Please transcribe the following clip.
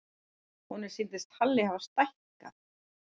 Honum sýndist Halli hafa stækkað.